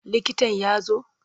Likitan ya zo?